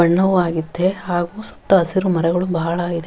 ಬಣ್ಣವು ಆಗಿದ್ದೆ ಹಾಗು ಸುತ್ತ ಹಸಿರು ಮರಗಳು ಬಹಳ ಇದೆ.